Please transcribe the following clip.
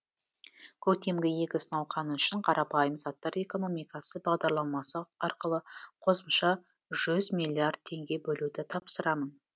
көктемгі егіс науқаны үшін қарапайым заттар экономикасы бағдарламасы арқылы қосымша жүз миллиард теңге бөлуді тапсырамын